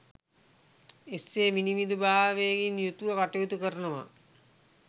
එසේ විනිවිදභාවයකින් යුතුව කටයුතුකරනවා